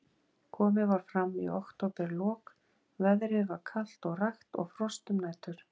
Komið var fram í októberlok, veðrið var kalt og rakt og frost um nætur.